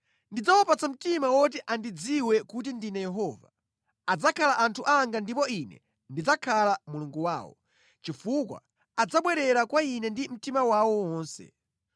Ndidzawapatsa mtima woti andidziwe kuti ndine Yehova. Adzakhala anthu anga ndipo Ine ndidzakhala Mulungu wawo, chifukwa adzabwerera kwa Ine ndi mtima wawo wonse.